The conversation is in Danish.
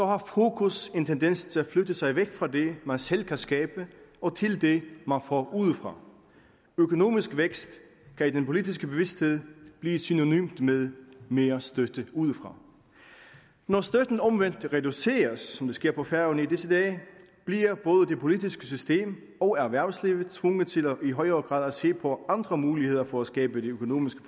har fokus en tendens til at flytte sig væk fra det man selv kan skabe til det man får udefra økonomisk vækst kan i den politiske bevidsthed blive synonymt med mere støtte udefra når støtten omvendt reduceres som det sker på færøerne i disse dage bliver både det politiske system og erhvervslivet tvunget til i højere grad at se på andre muligheder for at skabe det økonomiske